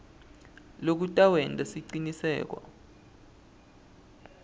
loku kutawenta siciniseko